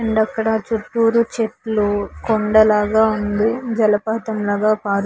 And అక్కడ చుట్టూరా చెట్లు కొండ లాగా ఉంది. జలపాతం లాగా పారు --